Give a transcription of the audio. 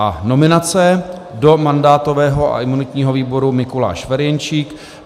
A nominace: do mandátového a imunitního výboru Mikuláš Ferjenčík.